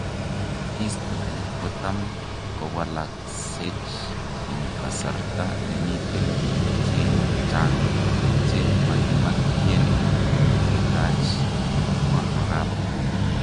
History kotam kowalaseck en kasarta nemiten pik cheng chang che makimakiyegn ketach."kamwa arap.